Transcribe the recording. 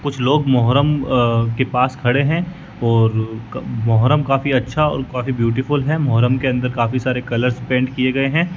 कुछ लोग मोहर्रम अह के पास खड़े है और मोहर्रम काफी अच्छा और काफी ब्यूटीफुल है मोहर्रम के अंदर काफी सारे कलर्स पेंट किये गये है।